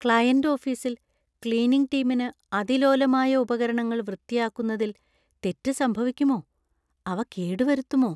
Client ഓഫീസിൽ cleaning ടീമിന് അതിലോലമായ ഉപകരണങ്ങൾ വൃത്തിയാക്കുന്നതിൽ തെറ്റ് സംഭവിക്കുമോ? അവ കേടുവരുത്തുമോ?